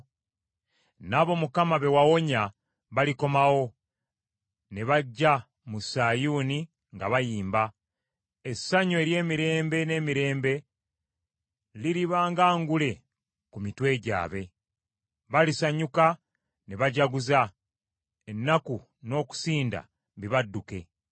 N’abo Mukama be wawonya balikomawo ne bajja mu Sayuuni nga bayimba. Essanyu ery’emirembe n’emirembe liriba nga ngule ku mitwe gyabwe. Balisanyuka ne bajaguza; ennaku n’okusinda bibadduke.